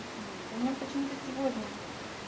вот и у меня почему-то сегодня